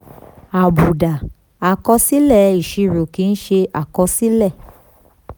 àbùdá: àkọsílẹ̀ ìṣirò kì í ṣe àkọsílẹ̀.